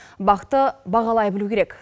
бақты бағалай білу керек